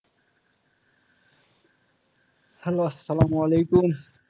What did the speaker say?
Hello আসসালামু আলাইকুম।